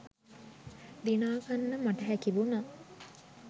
දිනාගන්න මට හැකිවුණා